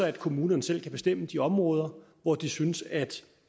at kommunerne selv kan bestemme de områder hvor de synes at